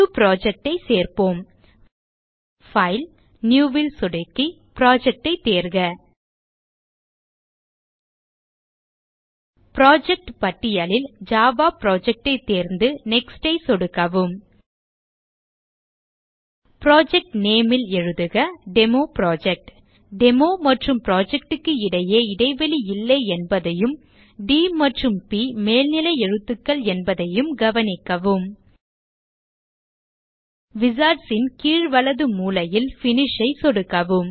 புது project ஐ சேர்ப்போம் பைல் நியூ ல் சொடுக்கி புரொஜெக்ட் ஐ தேர்க புரொஜெக்ட் பட்டியலில் ஜாவா புரொஜெக்ட் ஐ தேர்ந்து Next ஐ சொடுக்கவும் புரொஜெக்ட் name ல் எழுதுக டெமோப்ராஜெக்ட் டெமோ மற்றும் புரொஜெக்ட் க்கு இடையே இடைவெளி இல்லை என்பதையும் ட் மற்றும் ப் மேல்நிலை எழுத்துக்கள் என்பதையும் கவனிக்கவும் wizards ன் கீழ் வலது மூலையில் Finish ஐ சொடுக்கவும்